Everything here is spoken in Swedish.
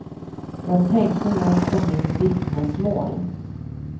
Jag tänkte nog på mitt vittnesmål.